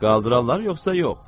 Qaldırarlar yoxsa yox?